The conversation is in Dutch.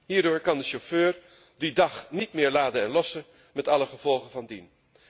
Hierdoor kan de chauffeur die dag niet meer laden en lossen, met alle gevolgen van dien.